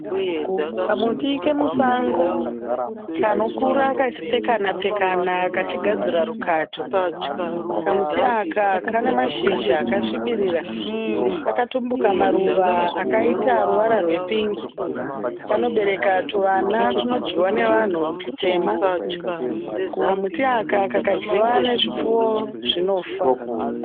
Kamuti kemusango kanokura kachipfekanapfekana kachigadzira rukato. Kamuti aka kane mashizha akasvibirira. Kakatumbuka maruva akaita ruvara rwepingi. Kanobereka tuvana tunodyiwa navanhu tutema. Kamuti aka kakadyiwa nezvipfuwo zvinofa.